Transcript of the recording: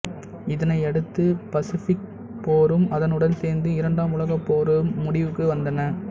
இதனையடுத்து பசிபிக் போரும் அதனுடன் சேர்ந்து இரண்டாம் உலகப் போரும் முடிவுக்கு வந்தன